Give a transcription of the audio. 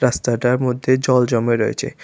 রাস্তাটার মধ্যে জল জমে রয়েছে।